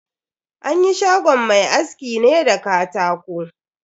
An yi shagon mai askin ne da katako.